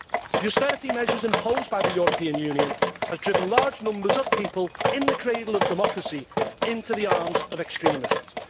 The austerity measures imposed by the European Union have driven large numbers of people in the cradle of democracy into the arms of extremists.